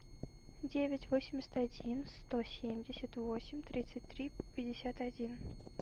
девять восемьдесят один сто семьдесят восемь тридцать три пятьдесят один